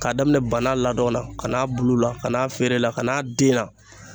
K'a daminɛ bana ladon na ka n'a bulu la ka n'a feere la ka n'a den na.